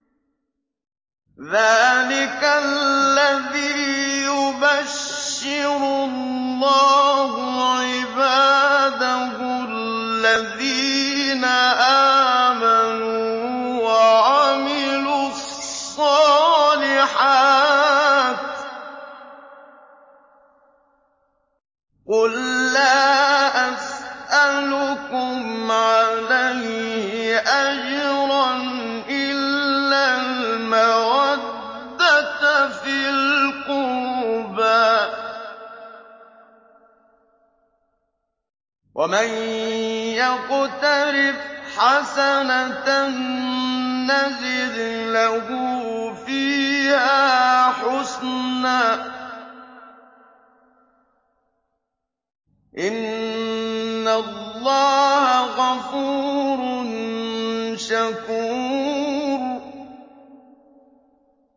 ذَٰلِكَ الَّذِي يُبَشِّرُ اللَّهُ عِبَادَهُ الَّذِينَ آمَنُوا وَعَمِلُوا الصَّالِحَاتِ ۗ قُل لَّا أَسْأَلُكُمْ عَلَيْهِ أَجْرًا إِلَّا الْمَوَدَّةَ فِي الْقُرْبَىٰ ۗ وَمَن يَقْتَرِفْ حَسَنَةً نَّزِدْ لَهُ فِيهَا حُسْنًا ۚ إِنَّ اللَّهَ غَفُورٌ شَكُورٌ